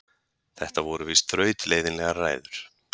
Þetta voru víst þrautleiðinlegar ræður.